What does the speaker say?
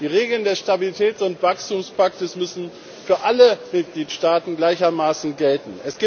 Die Regeln des Stabilitäts und Wachstumspakts müssen für alle Mitgliedstaaten gleichermaßen gelten.